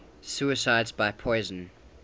suicides by poison